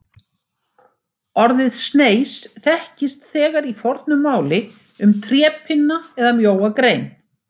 Orðið sneis þekkist þegar í fornu máli um trépinna eða mjóa grein.